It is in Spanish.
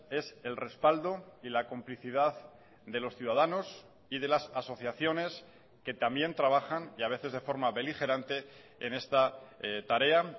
es el respaldo y la complicidad de los ciudadanos y de las asociaciones que también trabajan y a veces de forma beligerante en esta tarea